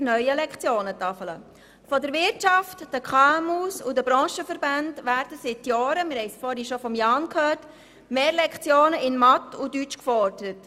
Von Seiten der Wirtschaft, der KMU und der Branchenverbände werden seit Jahren mehr Lektionen in Mathematik und Deutsch gefordert.